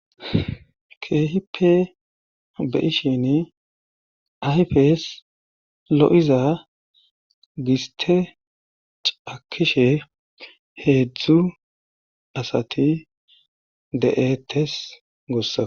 keehipe be ishin ayfes lo7iza giste cakishe heedzdzu asati de7ettes gossa